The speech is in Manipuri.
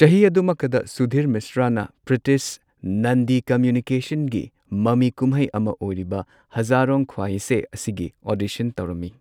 ꯆꯍꯤ ꯑꯗꯨꯃꯛꯇꯗ ꯁꯨꯙꯤꯔ ꯃꯤꯁ꯭ꯔꯥꯅ ꯄ꯭ꯔꯤꯇꯤꯁ ꯅꯟꯗꯤ ꯀꯃꯨꯅꯤꯀꯦꯁꯟꯒꯤ ꯃꯃꯤ ꯀꯨꯝꯍꯩ ꯑꯃ ꯑꯣꯏꯔꯤꯕ ꯍꯖꯥꯔꯣꯟ ꯈꯋꯥꯏꯁꯦꯟ ꯑꯁꯤꯒꯤ ꯑꯣꯗꯤꯁꯟ ꯇꯧꯔꯝꯃꯤ꯫